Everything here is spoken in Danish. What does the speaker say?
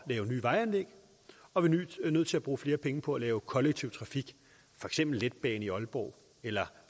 at lave nye vejanlæg og vi er nødt til at bruge flere penge på at lave kollektiv trafik for eksempel letbane i aalborg eller